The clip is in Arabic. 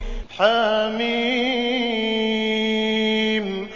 حم